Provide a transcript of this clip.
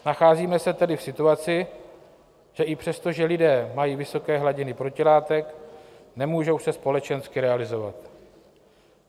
Nacházíme se tedy v situaci, že i přesto, že lidé mají vysoké hladiny protilátek, nemůžou se společensky realizovat.